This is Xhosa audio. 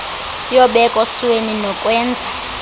yobeko sweni nokwenza